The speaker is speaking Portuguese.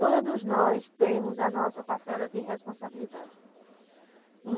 Todos nós temos a nossa parcela de responsabilidade.